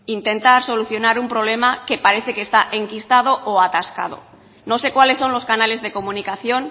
intentar solucionar un problema que parece que está enquistado o atascado no sé cuáles son los canales de comunicación